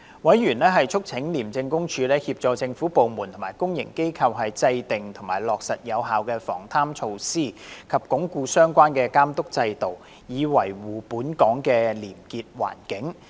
委員促請廉政公署協助政府部門和公營機構制訂及落實有效的防貪措施，以及鞏固相關的監督制度，以維護本港的廉潔環境。